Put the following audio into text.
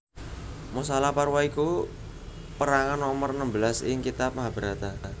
Mosala Parwa iku perangan nomer enembelas ing kitab Mahabharata